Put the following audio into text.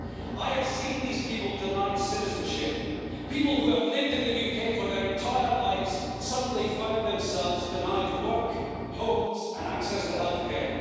I have seen these people denied citizenship. People who have lived in the UK for their entire lives suddenly find themselves denied work, homes and access to health care.